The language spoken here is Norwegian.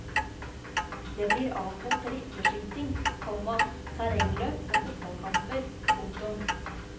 Det blir avholdt rifleskyting, komma terrengløp og fotballkamper. punktum